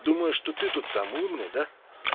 думаю что ты тут самун еда